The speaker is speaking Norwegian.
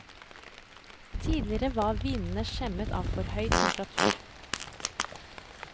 Tidligere var vinene skjemmet av for høy temperatur.